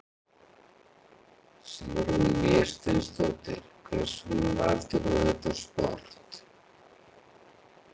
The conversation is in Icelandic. Sigrún Vésteinsdóttir: Hvers vegna valdir þú þetta sport?